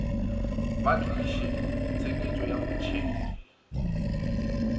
ba tliše tsheketšo ya motšhedi